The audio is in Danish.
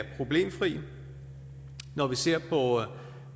problemfri når vi ser på